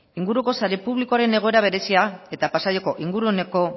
inguruko sare publikoaren egoera berezia eta pasaiako inguruneko